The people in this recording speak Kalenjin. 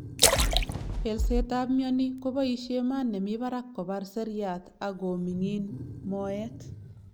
pelset ap miani kobaishe maat nemii parak kopar seriat ak komingin moet